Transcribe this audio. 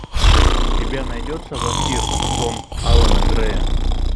у тебя найдется вампир сон алана грея